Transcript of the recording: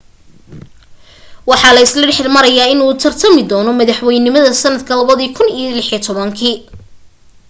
waxaa la isla dhexmarayaa inuu u tartami doono madaxweynenimada sanadka 2016